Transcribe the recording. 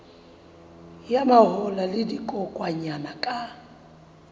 ya mahola le dikokwanyana ka